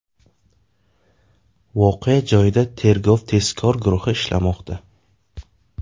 Voqea joyida tergov-tezkor guruhi ishlamoqda.